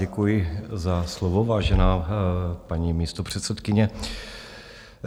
Děkuji za slovo, vážená paní místopředsedkyně.